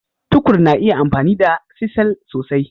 Tukur na iya amfani da cisel sosai.